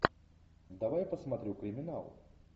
давай посмотрю криминал